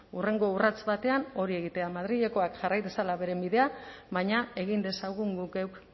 hurrengo urrats batean hori egitea madrilekoak jarrai dezala beren bidea baina egin dezagun guk geuk